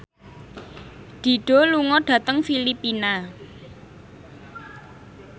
Dido lunga dhateng Filipina